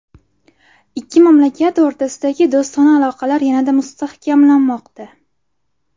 Ikki mamlakat o‘rtasidagi do‘stona aloqalar yanada mustahkamlanmoqda.